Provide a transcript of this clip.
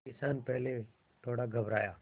किसान पहले थोड़ा घबराया